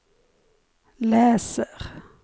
läser